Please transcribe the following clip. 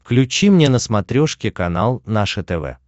включи мне на смотрешке канал наше тв